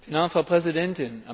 Frau Präsidentin!